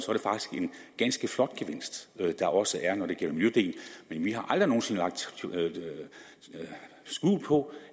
ganske flot gevinst der også er når det gælder miljødelen men vi har aldrig nogen sinde lagt skjul på